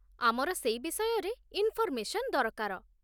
ଆମର ସେଇ ବିଷୟରେ ଇନ୍ଫର୍ମେସନ୍ ଦରକାର ।